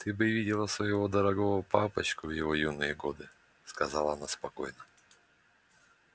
ты бы видела своего дорогого папочку в его юные годы сказала она спокойно